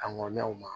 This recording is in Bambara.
A ŋɔni na o ma